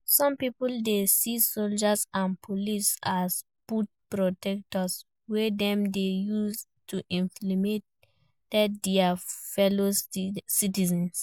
Some people dey see soldiers and police as boot protectors wey dem dey use to intimidate dia fellow citizens.